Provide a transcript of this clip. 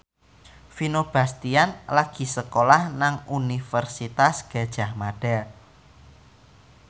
Vino Bastian lagi sekolah nang Universitas Gadjah Mada